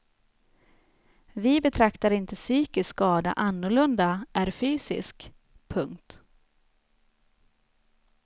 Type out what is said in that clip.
Vi betraktar inte psykisk skada annorlunda är fysisk. punkt